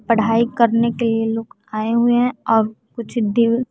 पढ़ाई करने के लिए लोग आए हुए हैं और कुछ दिन--